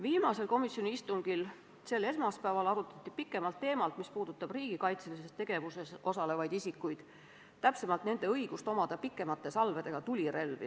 Viimasel komisjoni istungil, mis toimus sel esmaspäeval, arutati pikemalt teemat, mis puudutab riigikaitselises tegevuses osalevaid isikuid, täpsemalt nende õigust omada pikemate salvedega tulirelvi.